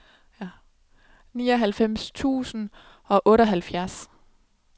nioghalvfems tusind og otteoghalvfjerds